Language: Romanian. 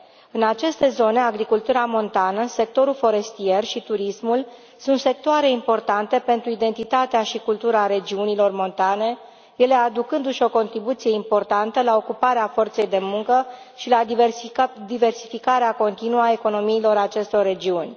În aceste zone, agricultura montană, sectorul forestier și turismul sunt sectoare importante pentru identitatea și cultura regiunilor montane, ele aducându și o contribuție importantă la ocuparea forței de muncă și la diversificarea continuă a economiilor acestor regiuni.